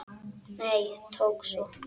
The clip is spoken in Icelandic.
Nei, ekki svo